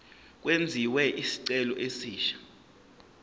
kwenziwe isicelo esisha